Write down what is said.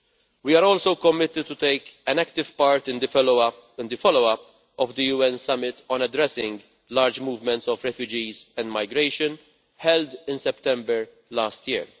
We are also committed to taking an active part in the follow up to the UN Summit on Addressing Large Movements of Refugees and Migration, held in September last year.